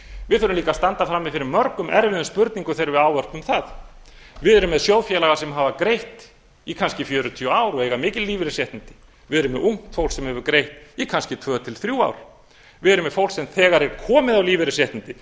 við þurfum líka að standa frammi fyrir mörgum erfiðum spurningum þegar við ávörpum það við erum með sjóðfélaga sem hafa greitt í kannski fjörutíu ár og eiga mikil lífeyrisréttindi við erum með ungt fólk sem hefur greitt í kannski tvö til þrjú ár við erum með fólk sem þegar er komið á lífeyrisréttindi